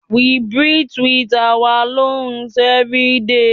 We breathe with our lungs everyday